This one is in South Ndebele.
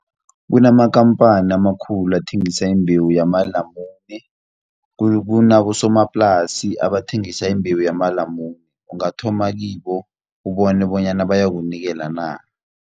Kunamakampani amakhulu athengisa imbewu yamalamune, kunabosomaplasi abathengisa imbewu yamalamune, ungathoma kibo ubone bonyana bayakunikela na.